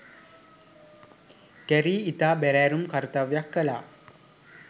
Carey ඉතා බැරෑරුම් කර්තව්‍යක් කළා.